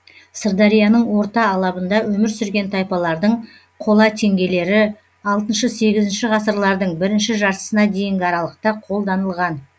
сырдарияның орта алабында өмір сүрген тайпалардың қола теңгелері алтыншы сегізінші ғасырлардың бірінші жартысына дейінгі аралықта қолданылған